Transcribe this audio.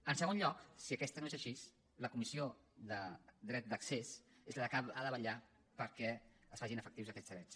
en segon lloc si aquesta no és així la comissió del dret d’accés és la que ha de vetllar perquè es facin efectius aquests drets